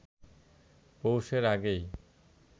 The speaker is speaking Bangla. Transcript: পৌষের আগেই